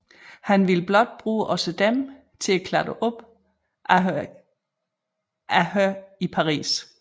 Han vil blot bruge ogsaa Dem til at klattre op ad her i Paris